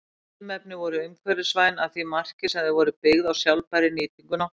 Þessi ilmefni voru umhverfisvæn að því marki sem þau voru byggð á sjálfbærri nýtingu náttúrunnar.